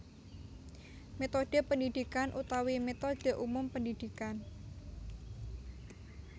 Métodhe pendidikan utawi métodhe umum pendidikan